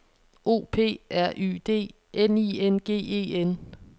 O P R Y D N I N G E N